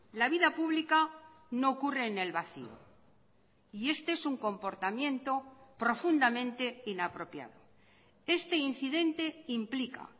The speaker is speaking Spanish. la vida pública no ocurre en el vacío y este es un comportamiento profundamente inapropiado este incidente implica